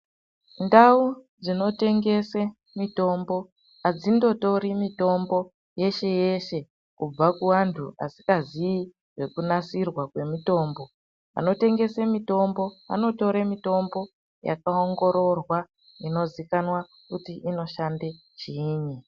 Nfau dzinotengese mitombo adzindotori mitombo yeshe yeshe kubva kuvanhu vasingazii nekunasirwa kwemitombo vanotengese mitombo vanotore mitombo yakaongororwa inozikanwa kuti inoshande chiini.